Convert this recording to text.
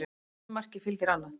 Einu marki fylgir annað